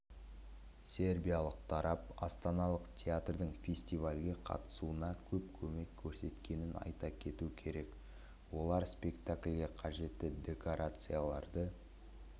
сербиялық тарап астаналық театрдың фестивальге қатысуына көп көмек көрсеткенін айта кету керек олар спектакльге қажетті декорацияларды